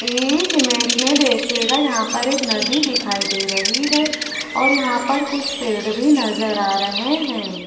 इस इमेज में देखिएगा यहां पर एक नदी दिखाई दे रही है और यहां पर कुछ पेड़ भी नजर आ रहे हैं।